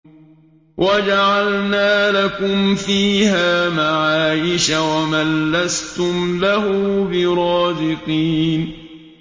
وَجَعَلْنَا لَكُمْ فِيهَا مَعَايِشَ وَمَن لَّسْتُمْ لَهُ بِرَازِقِينَ